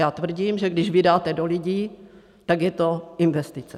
Já tvrdím, že když vydáte do lidí, tak je to investice.